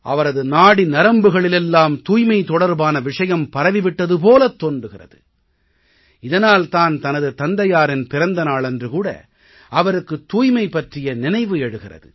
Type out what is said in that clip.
அவரது நாடி நரம்புகளிலெல்லாம் தூய்மை தொடர்பான விஷயம் பரவி விட்டது போலத் தோன்றுகிறது இதனால் தான் தனது தந்தையாரின் பிறந்த நாளன்று கூட அவருக்கு தூய்மை பற்றிய நினைவு எழுகிறது